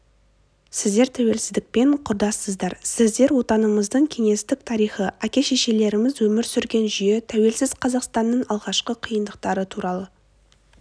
сіздер тәуелсіздікпен құрдассыздар сіздер отанымыздың кеңестік тарихы әке-шешелеріміз өмір сүрген жүйе тәуелсіз қазақстанның алғашқы қиындықтары туралы